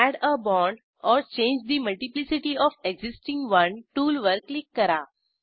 add a bond or change the multiplicity of existing one टूलवर click करा